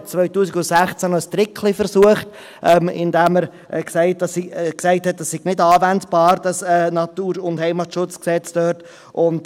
Er versuchte 2016 sogar, ein Tricklein anzuwenden, indem er sagte, das Bundesgesetz über den Natur- und Heimatschutz (NHG) sei dort nicht anwendbar.